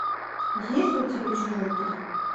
есть ли у тебя чужой три